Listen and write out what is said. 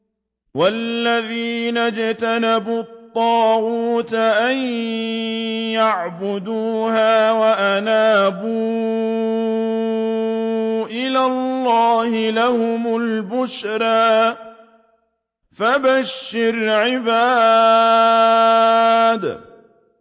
وَالَّذِينَ اجْتَنَبُوا الطَّاغُوتَ أَن يَعْبُدُوهَا وَأَنَابُوا إِلَى اللَّهِ لَهُمُ الْبُشْرَىٰ ۚ فَبَشِّرْ عِبَادِ